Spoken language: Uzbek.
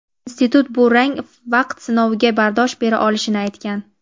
Institut bu rang vaqt sinoviga bardosh bera olishini aytgan.